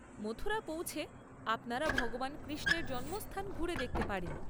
মথুরা পৌঁছে আপনারা ভগবান কৃষ্ণের জন্মস্থান ঘুরে দেখতে পারেন।